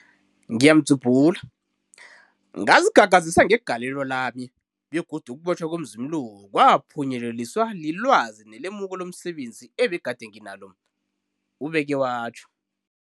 Ngazikhakhazisa ngegalelo lami, begodu ukubotjhwa komzumi lo kwaphunyeleliswa lilwazi nelemuko lomse benzi ebegade nginalo, ubeke watjho.